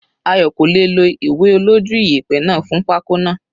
Ayo kò lè è lo ìwé olójú iyẹ̀pẹ̀ fún pako náà.